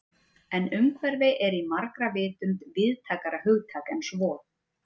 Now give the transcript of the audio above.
En umhverfi er í margra vitund víðtækara hugtak en svo.